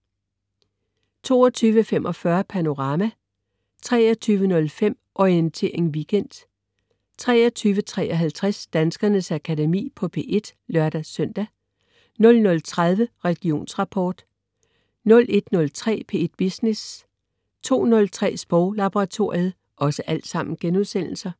22.45 Panorama* 23.05 Orientering Weekend* 23.53 Danskernes Akademi på P1* (lør-søn) 00.30 Religionsrapport* 01.03 P1 Business* 02.03 Sproglaboratoriet*